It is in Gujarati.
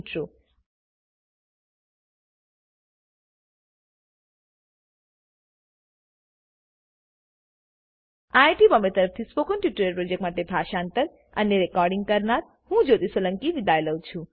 iit બોમ્બે તરફથી સ્પોકન ટ્યુટોરીયલ પ્રોજેક્ટ માટે ભાષાંતર કરનાર હું જ્યોતી સોલંકી વિદાય લઉં છું